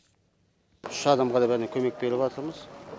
үш адамға да бәріне көмек беріп атырмыз